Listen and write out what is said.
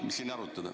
Mis siin arutada.